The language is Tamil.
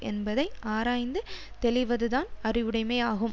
என்பதை ஆராய்ந்து தெளிவதுதான் அறிவுடைமையாகும்